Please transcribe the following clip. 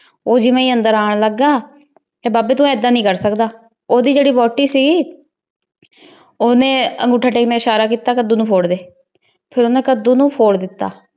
ਊ ਜਿਵੇਂ ਈ ਅੰਦਰ ਆਂ ਲਗਾ ਕੀਯ ਬਾਬੀ ਤੂ ਏਦਾਂ ਨਾਈ ਕਰ ਸਕਦਾ ਓੜੀ ਜੇਰੀ ਵੋਹਟੀ ਸੀ ਓਹਨੇ ਅਨ੍ਗੋਥਾ ਟੇਕ ਨੇ ਇਸ਼ਾਰਾ ਕੀਤਾ ਕੇ ਤੂ ਕਦੋ ਨੂ ਫੋਰ ਡੀ ਓਹਨੀ ਕਦੋ ਨੂ ਫੋਰ ਤਾ